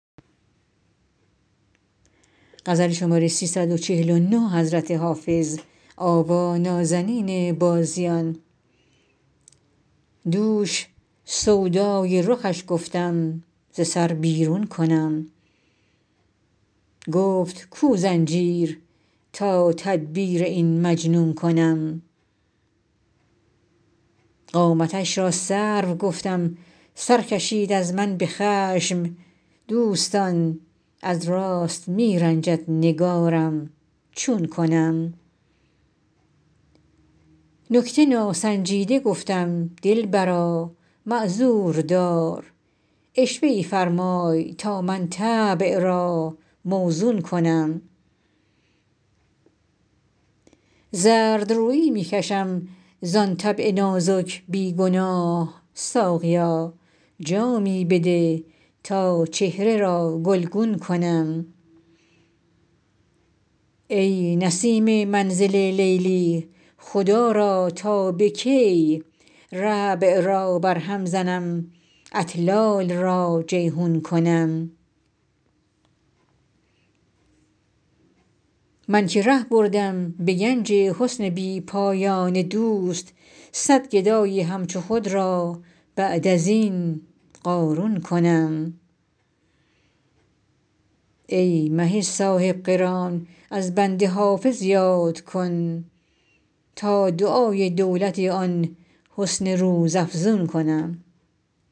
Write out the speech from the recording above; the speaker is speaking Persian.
دوش سودای رخش گفتم ز سر بیرون کنم گفت کو زنجیر تا تدبیر این مجنون کنم قامتش را سرو گفتم سر کشید از من به خشم دوستان از راست می رنجد نگارم چون کنم نکته ناسنجیده گفتم دلبرا معذور دار عشوه ای فرمای تا من طبع را موزون کنم زردرویی می کشم زان طبع نازک بی گناه ساقیا جامی بده تا چهره را گلگون کنم ای نسیم منزل لیلی خدا را تا به کی ربع را برهم زنم اطلال را جیحون کنم من که ره بردم به گنج حسن بی پایان دوست صد گدای همچو خود را بعد از این قارون کنم ای مه صاحب قران از بنده حافظ یاد کن تا دعای دولت آن حسن روزافزون کنم